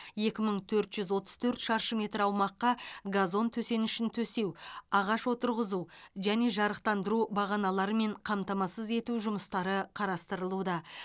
екі мың төрт жүз отыз төрт шаршы метр аумаққа газон төсенішін төсеу ағаш отырғызу және жарықтандыру бағаналарымен қамтамасыз ету жұмыстары қарастырылуда